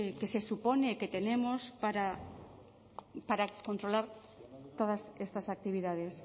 que se supone que tenemos para controlar todas estas actividades